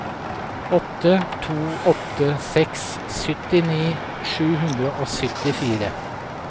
åtte to åtte seks syttini sju hundre og syttifire